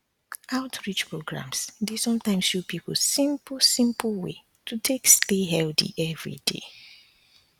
outreach programs dey sometimes show people simple simple way to take stay healthy every day